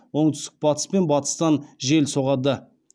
оңтүстік батыс пен батыстан жел соғады